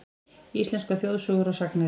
Íslenskar þjóðsögur og sagnir.